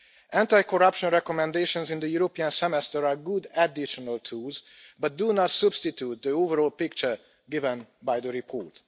Anti corruption recommendations in the European Semester are good additional tools but do not substitute the overall picture given by the report.